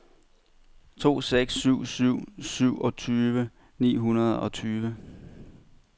to seks syv syv syvogtyve ni hundrede og tyve